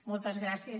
moltes gràcies